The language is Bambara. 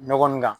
Nɔgɔ nin kan